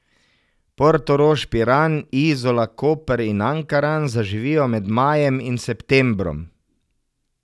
Portorož, Piran, Izola, Koper in Ankaran zaživijo med majem in septembrom.